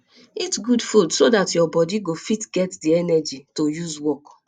eat good food so dat your body go fit get di energy to use work